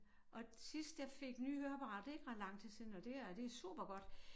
Og sidst jeg fik nye høreapparater det ikke ret lang tid siden og det her det supergodt